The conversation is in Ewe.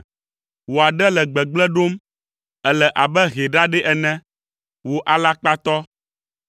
Wò aɖe le gbegblẽ ɖom; èle abe hɛ ɖaɖɛ ene, wò alakpatɔ.